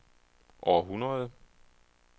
århundrede